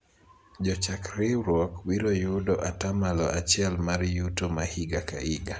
jochak riwruok biro yudo atamalo achiel mar yuto ma higa ka higa